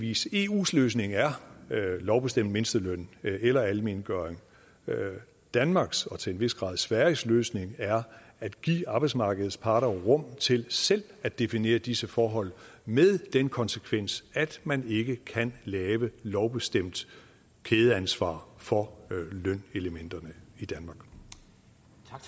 vis eus løsning er lovbestemt mindsteløn eller almengøring danmarks og til en vis grad sveriges løsning er at give arbejdsmarkedets parter rum til selv at definere disse forhold med den konsekvens at man ikke kan lave lovbestemt kædeansvar for lønelementerne